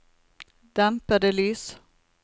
dempede lys